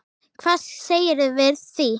Hvað segirðu við því?